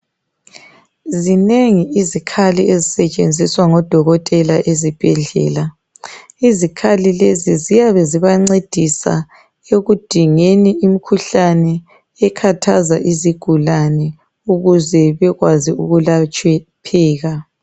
Zinengi iikhali ezisetshenziswa ngodokotela esibhedlela. Izikhali lezi ziyabe zibancedisa ekudingeni imikhuhlane ekhathaza izigulane ukuze bekwazi ukwelapheka.